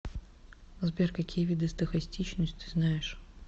сбер какие виды стохастичность ты знаешь